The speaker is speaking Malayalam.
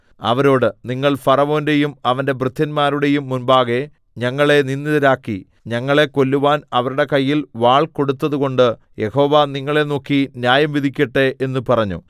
അവരോട് നിങ്ങൾ ഫറവോന്റെയും അവന്റെ ഭൃത്യന്മാരുടെയും മുമ്പാകെ ഞങ്ങളെ നിന്ദിതരാക്കി ഞങ്ങളെ കൊല്ലുവാൻ അവരുടെ കയ്യിൽ വാൾ കൊടുത്തതുകൊണ്ട് യഹോവ നിങ്ങളെ നോക്കി ന്യായം വിധിക്കട്ടെ എന്ന് പറഞ്ഞു